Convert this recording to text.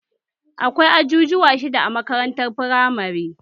Akwai ajujuwa shidda a makarantar firamare